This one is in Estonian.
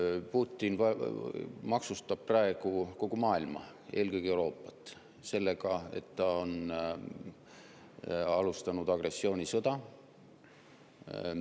Putin maksustab praegu kogu maailma, eelkõige Euroopat, sellega, et ta on alustanud agressioonisõda.